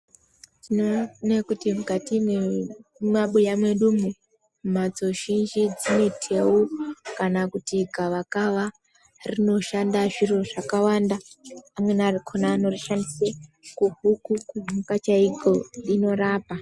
Tinoone kuti mukati mwemabuya mwedumwo, mhatso zhinji dzine theu, kana kuti gavakava. Rinoshanda zviro zvakawanda. Amweni akhona anorishandise kuhuku, kumhuka chaiko rinorapa.